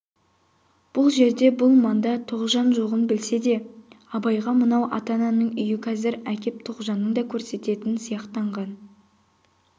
бұл жерде бұл маңда тоғжан жоғын білсе де абайға мынау ата-ананың үйі қазір әкеп тоғжанын да көрсететін сияқтанған